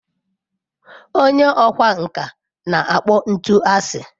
Onye ọkwá nkà na-akpọ ntu asị.